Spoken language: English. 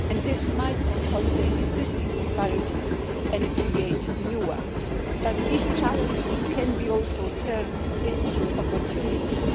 This might consolidate existing disparities and create new ones, but these challenges can also be turned into opportunities.